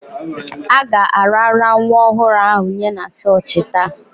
A ga-arara nwa ọhụrụ ahụ nye na chọọchị taa.